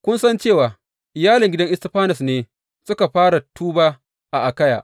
Kun san cewa iyalin gidan Istifanas ne suka fara tuba a Akayya.